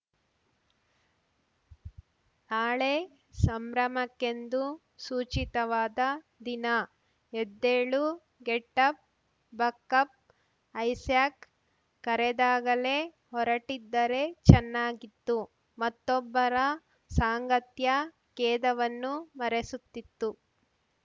ನಾಳೆ ಸಂಭ್ರಮಕ್ಕೆಂದು ಸೂಚಿತವಾದ ದಿನ ಎದ್ದೇಳು get up buck up Isaac ಕರೆದಾಗಲೇ ಹೊರಟಿದ್ದರೆ ಚೆನ್ನಾಗಿತ್ತು ಮತ್ತೊಬ್ಬರ ಸಾಂಗತ್ಯ ಖೇದವನ್ನು ಮರೆಸುತ್ತಿತ್ತು